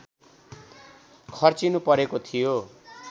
खर्चिनुपरेको थियो